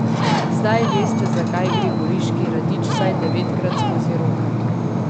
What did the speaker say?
Zdaj veste, zakaj gre goriški radič vsaj devetkrat skozi roke.